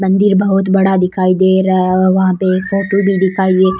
मंदिर बहोत बड़ा दिखाई दे रहा और वह पे एक फोटो भी दिखाई --